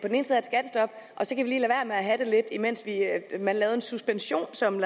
have det lidt mens man laver en suspension som